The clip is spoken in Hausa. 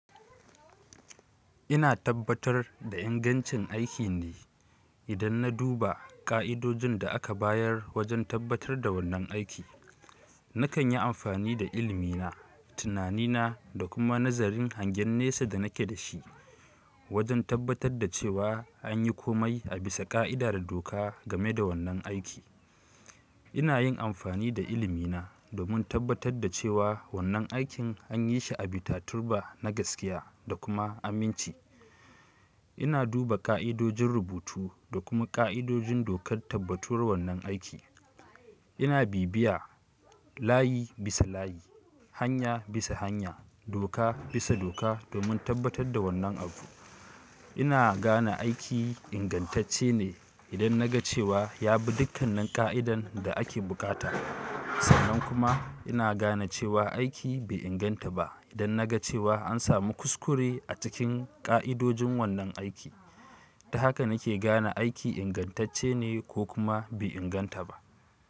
Ina tabbatar da ingancin aikin ne idan na duba ƙa'idojin da aka bayar wajen tabbatar da wannan aiki. Nakan yi amfani da ilmina, tunanina da kuma nazarin hangen nesa da nake da shi wajen tabbatar da cewa an yi komai a bisa ƙa'ida da doka game da wannan aiki. Ina yin amfani da ilimina domin tabbatar da cewa wannan aikin an yi shi a bita turba na gaskiya da kuma aminci. Ina duba ƙa'idojin rubutu da kuma ƙa'idojin dokar tabbatuwar wannan aiki. Ina bibiya layi bisa layi, hanya bisa hanya, doka bisa doka domin tabbatar da wannan abu. Ina gane aiki ingantacce ne idan na ga cewa ya bi dukkan nin ƙa'idan da ake bukata. Sannan kuma ina gane cewa aiki bai inganta ba idan na ga cewa an samu kuskure a cikin ƙa'idojin wannan aiki. Ta haka nake gane aiki ingantacce ne ko kuma bai inganta ba.